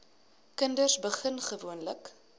kinders begin gewoonlik